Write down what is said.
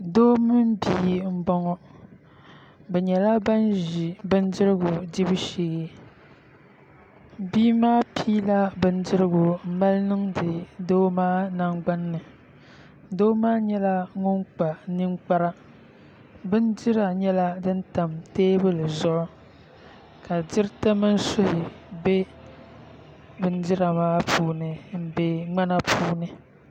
Doo mini bia n boŋo bi nyɛla ban ʒi bindirigu dibu sheebia maa piila bindirigu n mali niŋdi doo maa nagbani ni doo maa nyɛla ŋun kpa ninkpara bindira nyɛla din tam teebuli zuɣu ka diriti mini suhi bɛ bindira maa puuni n bɛ ŋmana puuni